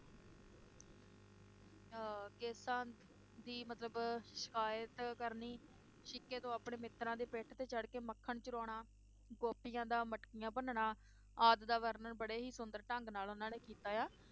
ਕੇਸਾਂ ਦੀ ਮਤਲਬ ਸ਼ਿਕਾਇਤ ਕਰਨੀ, ਸ਼ਿਕੇ ਤੋਂ ਆਪਣੇ ਮਿਤ੍ਰਾਂ ਦੀ ਪਿੱਠ ਤੇ ਚੜ੍ਹ ਕੇ ਮੱਖਣ ਚੁਰਾਉਣਾ, ਗੋਪੀਆਂ ਦਾ ਮਟਕੀਆਂ ਭੰਨਣਾ, ਆਦ ਦਾ ਵਰਨਣ ਬੜੇ ਹੀ ਸੁੰਦਰ ਢੰਗ ਨਾਲ ਉਹਨਾਂ ਨੇ ਕੀਤਾ ਆ